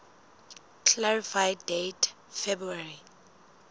clarify date february